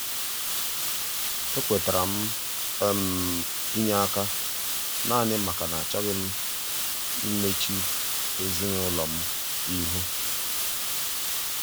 e kwetara m um inye aka um naanị maka na achọghị m imechu ezinụlọ m ihu.